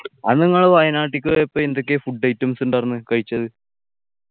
അന്ന് നിങ്ങള് വയനാട്ടിക്ക് പോയപ്പോ എന്തൊക്കെയാ food items ഉണ്ടാരുന്നേ കഴിച്ചത്